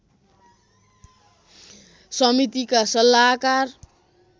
समितिका सल्लाहकार